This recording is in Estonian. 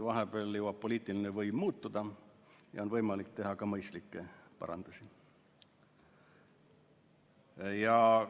Vahepeal jõuab poliitiline võim muutuda ja on võimalik teha ka mõistlikke parandusi.